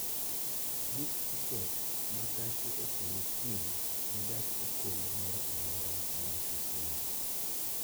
Buk tiket ma gache okolo kiny ne gach okolo moro amora modhi Kisumu